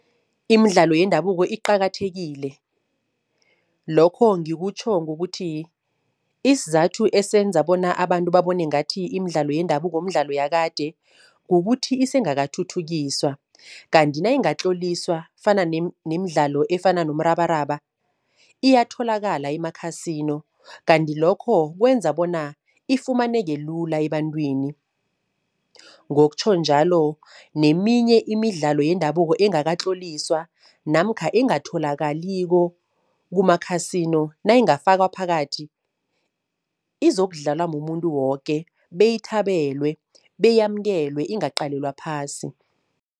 Imidlalo yendabuko iqakathekile. Lokho ngikutjho ngokuthi isizathu esenza bona abantu babone ngathi imidlalo yendabuko mdlalo yakade, kukuthi isengakathuthukiswa kanti nayingatloliswa fana nemidlalo efana nomrabaraba iyatholakala ema-casino, kanti lokho kwenza bona ifumaneke lula ebantwini. Ngokutjho njalo neminye imidlalo yendabuko engakatloliswa namkha engatholakaliko kuma-casino, nayingafakwa phakathi izokudlalwa mumuntu woke beyithabelwe, beyamukelwe ingaqalelwa phasi.